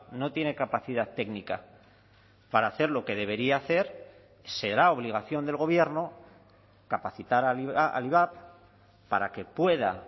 no tiene capacidad técnica para hacer lo que debería hacer será obligación del gobierno capacitar al ivap para que pueda